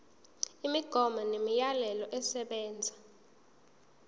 imigomo nemiyalelo esebenza